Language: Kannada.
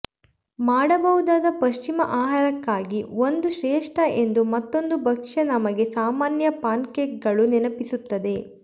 ಮಾಡಬಹುದಾದ ಪಶ್ಚಿಮ ಆಹಾರಕ್ಕಾಗಿ ಒಂದು ಶ್ರೇಷ್ಠ ಎಂದು ಮತ್ತೊಂದು ಭಕ್ಷ್ಯ ನಮಗೆ ಸಾಮಾನ್ಯ ಪ್ಯಾನ್ಕೇಕ್ಗಳು ನೆನಪಿಸುತ್ತದೆ